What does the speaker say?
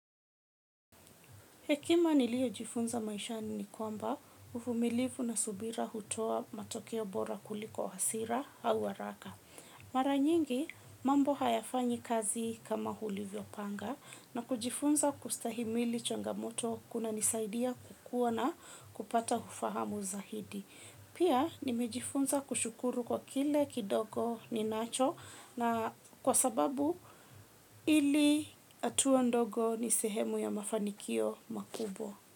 Hekima niliyojifunza maishani ni kwamba uvumilivu na subira hutoa matokeo bora kuliko hasira au haraka. Mara nyingi mambo hayafanyi kazi kama ulivyopanga na kujifunza kustahimili changamoto kunanisaidia kukua na kupata ufahamu zaidi. Pia nimejifunza kushukuru kwa kile kidogo ninacho na kwasababu hili hatua ndogo ni sehemu ya mafanikio makubwa.